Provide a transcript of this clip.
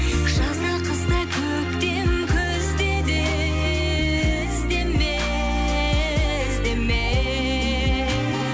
жазда қыста көктем күзде де іздеме іздеме